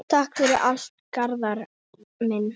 Takk fyrir allt, Garðar minn.